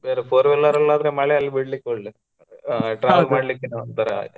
ಬೇರೆ Four wheeler ಅಲ್ಲಾದ್ರೆ ಮಳೆ ಎಲ್ ಬೀಳಿಕಿಲ್ಲಾ travel ಒಂತರಾ.